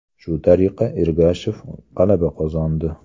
Shu tariqa Ergashev g‘alaba qozondi.